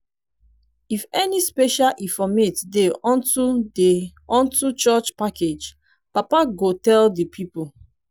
if any special informate dey unto dey unto church package papa go tell di pipol